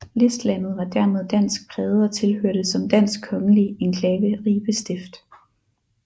Listlandet var dermed dansk præget og tilhørte som dansk kongelig enklave Ribe Stift